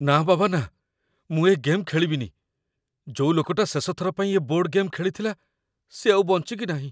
ନା ବାବା ନା, ମୁଁ ଏ ଗେମ୍ ଖେଳିବିନି । ଯୋଉ ଲୋକଟା ଶେଷଥର ପାଇଁ ଏ ବୋର୍ଡ ଗେମ୍ ଖେଳିଥିଲା ସିଏ ଆଉ ବଞ୍ଚିକି ନାହିଁ ।